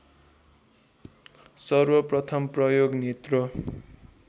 सर्वप्रथम प्रयोग नेत्र